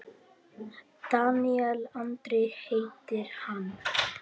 Daníel Andri heitir hann.